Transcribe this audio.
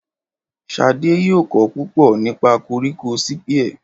Ṣadé yóò kọ́ púpọ̀ nípa koríko sípíẹ̀.